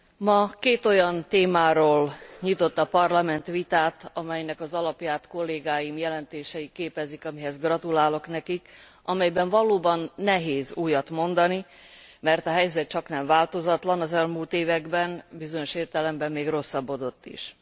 Ma két olyan témáról nyitott a Parlament vitát, amelynek az alapját kollégáim jelentései képezik amihez gratulálok nekik amelyben valóban nehéz újat mondani, mert a helyzet csaknem változatlan, az elmúlt években, bizonyos értelemben, még rosszabbodott is.